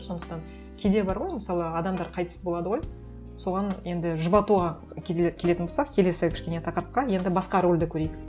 сондықтан кейде бар ғой мысалы адамдар қайтыс болады ғой соған енді жұбатуға кейде келетін болсақ келесі кішкене тақырыпқа енді басқа рөлді көрейік